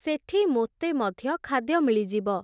ସେଠି ମୋତେ ମଧ୍ୟ ଖାଦ୍ୟ ମିଳିଯିବ ।